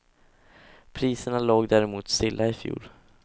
Priserna låg däremot stilla i fjol.